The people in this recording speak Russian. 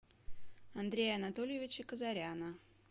андрея анатольевича казаряна